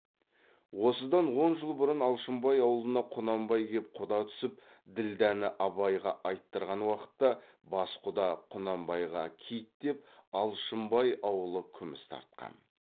осыдан он жыл бұрын алшынбай аулына құнанбай кеп құда түсіп ділдәні абайға айттырған уақытта бас құда құнанбайға кит деп алшынбай аулы күміс тартқан